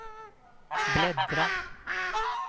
bläddra